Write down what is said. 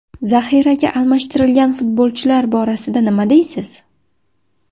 Zaxiraga almashtirgan futbolchilar borasida nima deysiz?